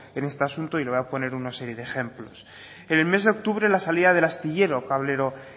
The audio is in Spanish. en este asunto y le voy a poner una serie de ejemplos en el mes de octubre la salida del astillero cablero